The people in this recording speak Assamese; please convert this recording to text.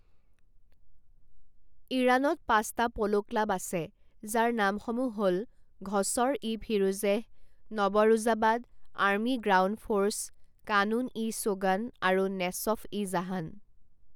ইৰানত পাঁচটা প'ল' ক্লাব আছে যাৰ নামসমূহ হ'ল Ghasr e Firuzeh Nowruzabad army ground force Ghanoon e Chogan আৰু নেছফ ই জাহান।